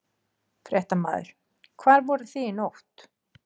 Fréttamaður: Hvar voruð þið í nótt?